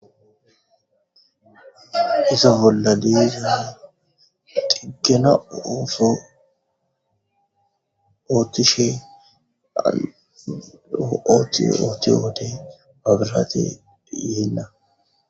Ise bolla diye xiggena ooso ooththishee ooththiyo wode maabraatee yeenna.